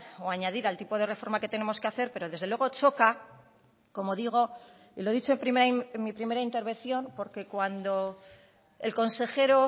o a añadir al tipo de reforma que tenemos que hacer pero desde luego choca como digo y lo he dicho en mi primera intervención porque cuando el consejero